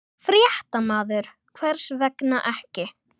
Fréttamaður: Hvers vegna ekki?